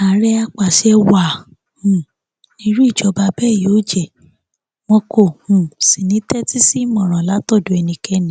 àárẹ àpasẹ wàá um ní irú ìjọba bẹẹ yóò jẹ wọn kò um sì ní í tẹtí sí ìmọràn látọdọ ẹnikẹni